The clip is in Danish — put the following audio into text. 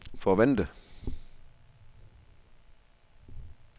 forvente